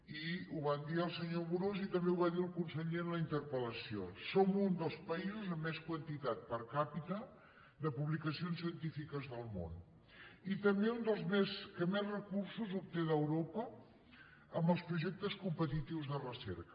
i ho va dir el senyor amorós i també ho va dir el con·seller en la interpel·lació som un dels països amb més quantitat món i també un dels que més recursos obté d’euro·pa en els projectes competitius de recerca